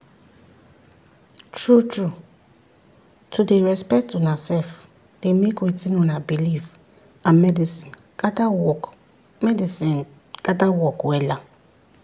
true trueto dey respect una sef dey make wetin una believe and medicine gather work medicine gather work wella.